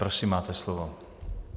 Prosím, máte slovo.